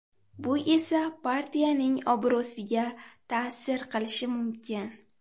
Bu esa partiyaning obro‘siga ta’sir qilishi mumkin.